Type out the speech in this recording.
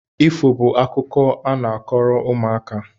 Ifo bụ akụkọ a na-akọrọ ụmụaka